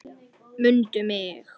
MUNDU MIG!